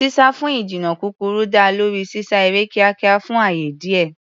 Sísá fún ìjìnnà kúkúrú dá lórí sísá eré kíákíá fún ààyè díẹ̀.